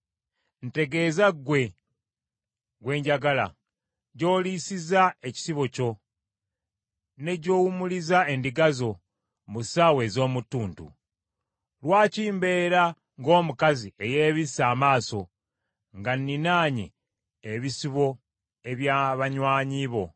Ntegeeza ggwe gwe njagala, gy’oliisiza ekisibo kyo, ne gy’owumuliza endiga zo mu ssaawa ez’omu ttuntu. Lwaki mbeera ng’omukazi eyeebisse amaaso nga nninaanye ebisibo eby’abanywanyi bo?